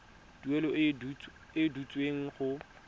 tuelo e e duetsweng go